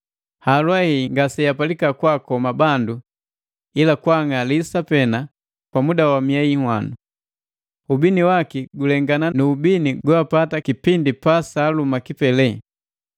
Halwa hei ngasegapalika kwaakoma bandu, ila kwa ang'alisa pena kwa muda wa miei nhwanu. Ubini waki gulengana nu ubini goapata kipindi pa saaluma kipeleli.